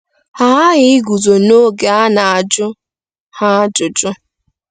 Ha aghaghị iguzo n'oge a na-ajụ ha ajụjụ.